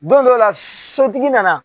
Don dɔw la sotigi nana